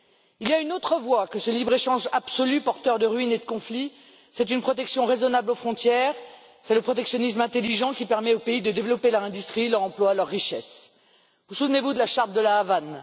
Il y a une autre voie que ce libre échange absolu porteur de ruines et de conflits c'est une protection raisonnable aux frontières, c'est le protectionnisme intelligent qui permet aux pays de développer leur industrie, leur emploi, leur richesse. Vous souvenez vous de la charte de La Havane?